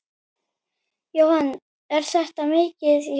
Jóhann: Er þetta mikið tjón?